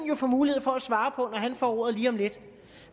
jo få mulighed for at svare på når han får ordet lige om lidt